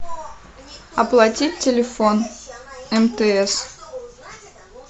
оплатить телефон мтс